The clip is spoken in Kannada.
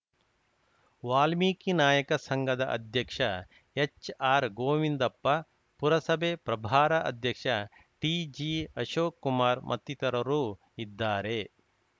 ವಾಲ್ಮೀಕಿ ನಾಯಕ ಸಂಘದ ಅಧ್ಯಕ್ಷ ಹೆಚ್‌ಆರ್‌ಗೋವಿಂದಪ್ಪ ಪುರಸಭೆ ಪ್ರಭಾರ ಅಧ್ಯಕ್ಷ ಟಿಜಿಅಶೋಕ್‌ಕುಮಾರ್‌ ಮತ್ತಿತರರು ಇದ್ದಾರೆ